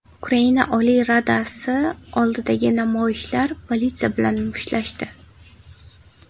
Ukraina Oliy Radasi oldidagi namoyishchilar politsiya bilan mushtlashdi.